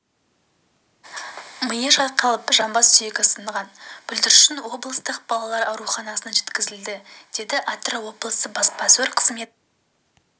миы шайқалып жамбас сүйегі сынған бүлдіршін облыстық балалар ауруханасына жеткізілді деді атырау облысы баспасөз қызметінің